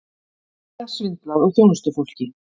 Víða svindlað á þjónustufólki